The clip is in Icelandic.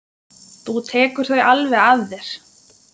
Þú tekur þau alveg að þér.